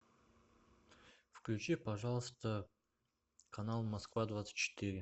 включи пожалуйста канал москва двадцать четыре